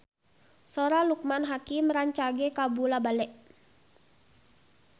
Sora Loekman Hakim rancage kabula-bale